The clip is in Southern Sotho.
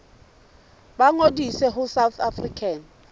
ba ngodise ho south african